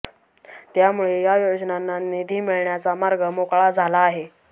त्यामुळे या योजनांना निधी मिळण्याचा मार्ग मोकळा झाला आहे